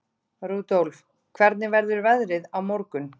Rudolf, hvernig verður veðrið á morgun?